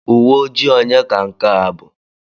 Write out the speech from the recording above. Uwe ojii onye ka nke a bụ?